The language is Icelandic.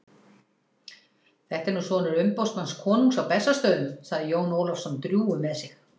Þetta er nú sonur umboðsmanns konungs á Bessastöðum, sagði Jón Ólafsson drjúgur með sig.